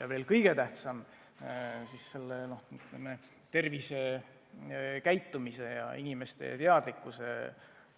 Ja veel kõige tähtsam on tervisekäitumise mõjutamine, inimeste teadlikkuse